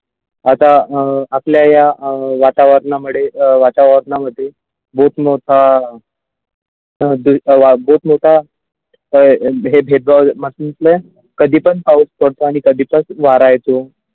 आता अ आपल्या या अ वातावरणामुळे वातावरण मध्ये मोठमोठा त्यामध्ये काही वादच नव्हता तर हे भेदभाव म्हटले कधी पण पाऊस पडतो आणि कधी पण वारा येतो.